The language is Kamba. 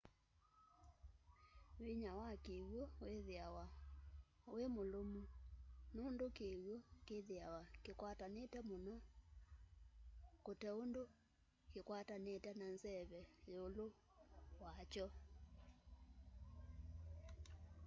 vĩnya wa kĩw'ũ wĩthĩawa wĩmũlũmũ nũndũ kĩw'ũ kĩthĩawa kĩkwatanĩte mũno kũteũndũ kĩkwatanĩte na nzeve yĩũlũ wa kyo